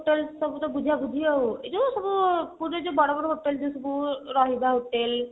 ସବୁତ ବୁଝାବୁଝି ଆଉ ଏଇ ଯୋଉ ପୁରୀରେ ଯୋଉ ସବୁ ବଡ ବଡ hotel ଯୋଉ ସବୁ ରହିବା hotel